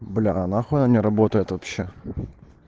бля а нахуй она не работает вообще